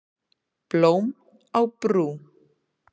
Blóm á brú